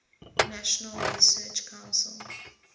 national research council